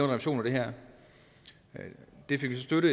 revision af det her det fik vi så støtte